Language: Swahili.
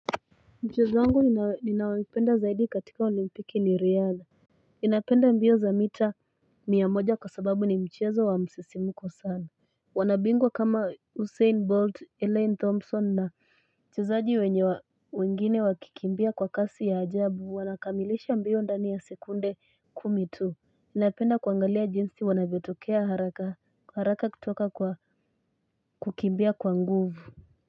Mchezo wangu ninaoipenda zaidi katika olimpiki ni riadha Ninapenda mbio za mita mia moja kwa sababu ni mchezo wa msisimuko sana. Wanabingwa kama Usain Bolt, Elaine Thompson na wachezaji wenye wengine wakikimbia kwa kasi ya ajabu wanakamilisha mbio ndani ya sekunde kumi tu Ninapenda kuangalia jinsi wanavyotokea haraka kutoka kwa kukimbia kwa nguvu.